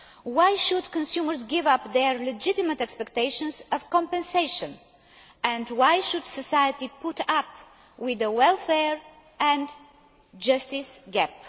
Why should consumers give up their legitimate expectations of compensation, and why should society put up with the welfare and justice gap?